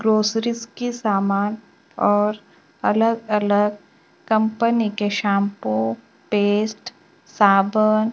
grocery के समान और अलग अलग कंपनी के शैंपू पेस्ट साबुन--